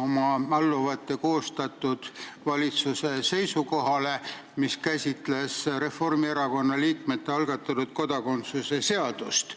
oma alluvate koostatud valitsuse seisukohale, mis käsitles Reformierakonna liikmete algatatud kodakondsuse seadust.